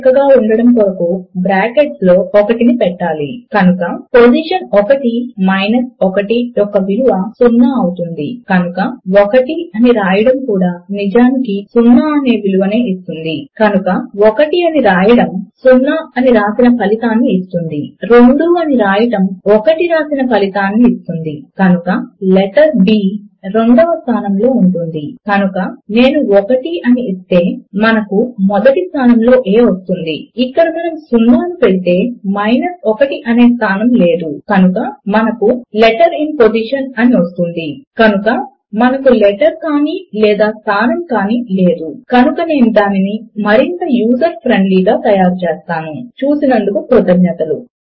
చూసినందుకు కృతజ్ఞతలు